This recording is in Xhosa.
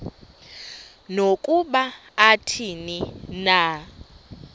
nokuba athini na